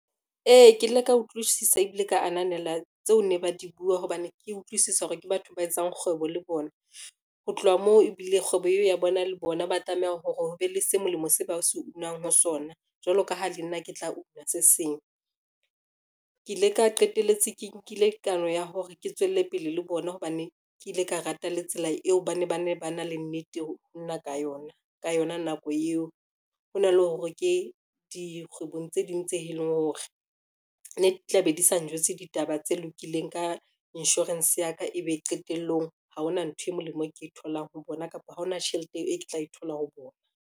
Ee, ke ile ka utlwisisa ebile ka ananela tseo ne ba di bua hobane ke utlwisisa hore ke batho ba etsang kgwebo le bona. Ho tloha moo, ebile kgwebo eo ya bona le bona ba tlameha hore ho be le se molemo se ba se unang ho sona, jwalo ka ha le nna ke tla una se seng, ke ile ka qetelletse ke nkile kano ya hore ke tswelle pele le bona, hobane ke ile ka rata le tsela eo ba ne ba na le nnete ho nna ka yona, ka yona nako eo. Hona le hore ke dikgwebong tse ding tse eleng hore ne ke tla be di sa njwetse ditaba tse lokileng ka insurance ya ka e be qetellong ha hona ntho e molemo ke e tholang ho bona, kapa ha hona tjhelete eo e ke tla e thola ho bona.